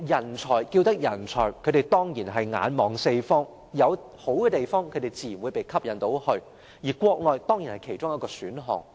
人才之所以稱為人才，他們當然是眼看四方，有好的地方自然會被吸引過去，而國內當然是其中一個選項。